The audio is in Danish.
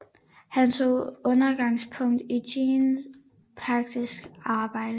Han tog udgangspunkt i Jean Piagets arbejde